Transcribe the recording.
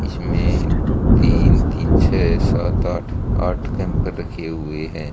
इसमें तीन तीन छः सात आठ आठ कैंपर रखे हुए हैं।